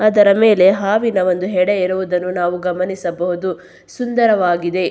ಅದರ ಮೇಲೆ ಹಾವಿನ ಒಂದು ಹೆಡೆ ಇರುವುದನ್ನು ನಾವು ಗಮನಿಸಬಹುದು. ಸುಂದರವಾಗಿದೆ.